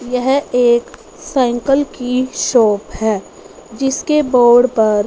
यह एक साइकिल की शॉप है जिसके बोर्ड पर--